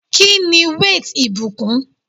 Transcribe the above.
Kíni weight ìbùkún?